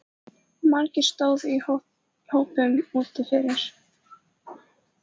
Margir stóðu í hópum úti fyrir.